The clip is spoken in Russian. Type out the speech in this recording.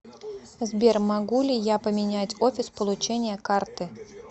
сбер могу ли я поменять офис получения карты